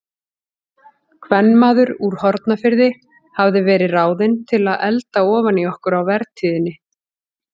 Kvenmaður úr Hornafirði hafði verið ráðinn til að elda ofan í okkur á vertíðinni.